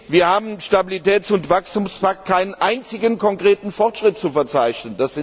Wir haben im Stabilitäts und Wachstumspakt keinen einzigen konkreten Fortschritt zu verzeichnen.